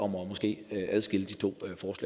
måske